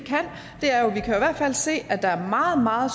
hvert fald se at der er meget meget